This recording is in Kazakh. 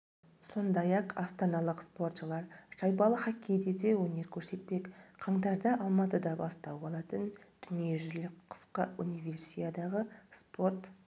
сондай-ақ астаналық спортшылар шайбалы хоккейде де өнер көрсетпек қаңтарда алматыда бастау алатын дүниежүзілік қысқы универсиадаға спорт